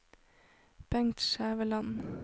Bengt Skjæveland